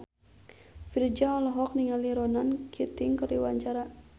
Virzha olohok ningali Ronan Keating keur diwawancara